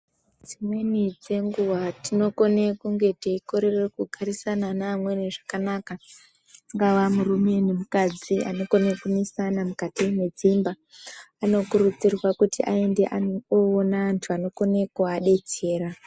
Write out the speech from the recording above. Dzimweni dzenguwa tinokona kunge teikorera kugarisana neamweni zvakanaka angave murume nemukadzi angakone kunesana mukati medzimba anokurudzirwa kuti aende kunoona antu anokona kuvadetsera.